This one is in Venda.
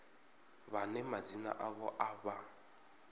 vhane madzina avho a vha